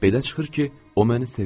Belə çıxır ki, o məni sevir.